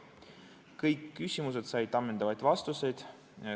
Kõik küsimused said ammendavad vastused.